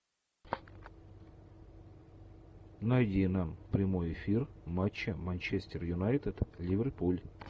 найди нам прямой эфир матча манчестер юнайтед ливерпуль